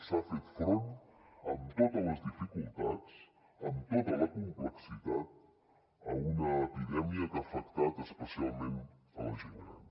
s’ha fet front amb totes les dificultats amb tota la complexitat a una epidèmia que ha afectat especialment la gent gran